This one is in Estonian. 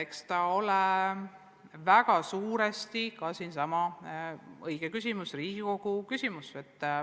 Eks see küsimus ole väga suuresti õige ka siinsamas Riigikogus esitada.